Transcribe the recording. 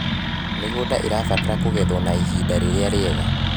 mĩgũnda irabatara kugethweo na ihinda riria riega